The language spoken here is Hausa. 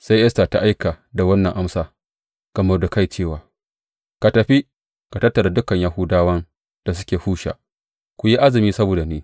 Sai Esta ta aika da wannan amsa ga Mordekai cewa, Ka tafi, ka tattara dukan Yahudawan da suke Shusha, ku yi azumi saboda ni.